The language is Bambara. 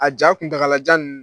A ja kuntagalajan ninnu.